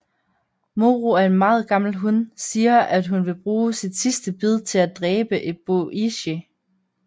Moro er meget gammel hun siger at hun vil bruge sit sidste bid til at dræbe Eboishi